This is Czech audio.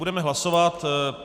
Budeme hlasovat.